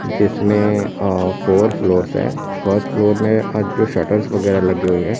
जिसमें अह four floors हैं फर्स्ट फ्लोर में आगे शटर्स वगैरह लगी हुई हैं।